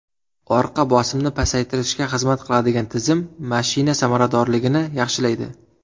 Orqa bosimni pasaytirishga xizmat qiladigan tizim mashina samaradorligini yaxshilaydi.